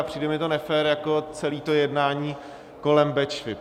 A přijde mi to nefér jako celé to jednání kolem Bečvy.